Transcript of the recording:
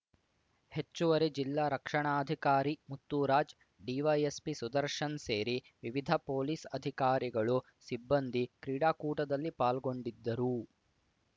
ಹೆಚ್ಚುವರಿ ಜಿಲ್ಲಾ ರಕ್ಷಣಾಧಿಕಾರಿ ಮುತ್ತುರಾಜ್‌ ಡಿವೈಎಸ್‌ಪಿ ಸುದರ್ಶನ್‌ ಸೇರಿ ವಿವಿಧ ಪೊಲೀಸ್‌ ಅಧಿಕಾರಿಗಳು ಸಿಬ್ಬಂದಿ ಕ್ರೀಡಾಕೂಟದಲ್ಲಿ ಪಾಲ್ಗೊಂಡಿದ್ದರು